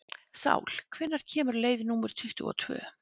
Sál, hvenær kemur leið númer tuttugu og tvö?